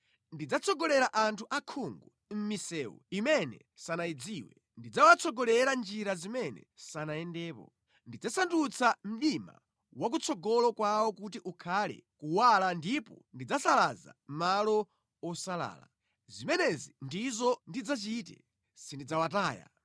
Ndidzatsogolera anthu osaona mʼmisewu imene sanayidziwe, ndidzawatsogolera mʼnjira zimene sanayendepo; ndidzasandutsa mdima wa kutsogolo kwawo kuti ukhale kuwala ndipo ndidzasalaza malo osalala. Zimenezi ndizo ndidzachite; sindidzawataya.